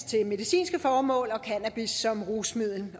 til medicinske formål og cannabis som rusmiddel